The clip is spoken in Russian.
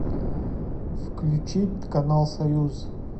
включить канал союз